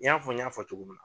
ɲ'a fɔ n ɲ'a fɔ cogo min na.